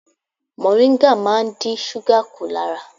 Mọ̀ríngà máa ń dín súgà kù lára.